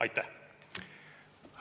Aitäh!